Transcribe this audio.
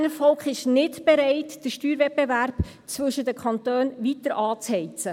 Das Berner Volk ist nicht bereit, den Steuerwettbewerb zwischen den Kantonen weiter anzuheizen: